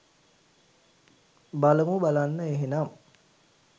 බලමු බලන්න එහෙනම්